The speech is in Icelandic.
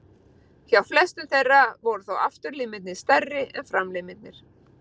Hjá flestum þeirra voru þó afturlimirnir stærri en framlimirnir.